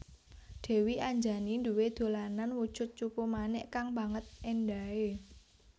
Dèwi Anjani duwé dolanan wujud cupu manik kang banget éndahé